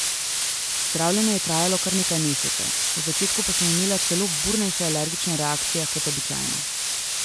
Zdravljenje je trajalo kar nekaj mesecev, v začetku pa sem imela celo burnejše alergične reakcije kot običajno.